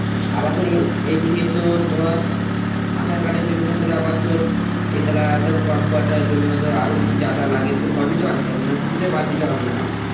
আবার তোর এই এইদিকে তো ধর aadhar card এর জন্য আবার তোর কমপাউটারের জন্য ধর আরো কিছু যা যা লাগে সবই তো আনতে হবে মানে কিছু তো বাদ দিলে হবে না, না?